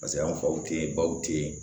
Paseke an faw tɛ yen baw tɛ yen